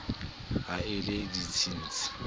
ha e le a ditsietsi